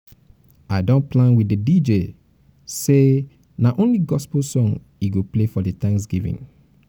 i don plan with di dj say na only gospel song he go play for the thanksgiving